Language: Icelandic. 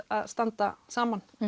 að standa saman